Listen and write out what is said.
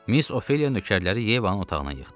Miss Ofeliya nökərləri Yevanın otağına yığdı.